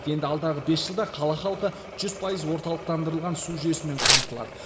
енді алдағы бес жылда қала халқы жүз пайыз орталықтандырылған су жүйесімен қамтылады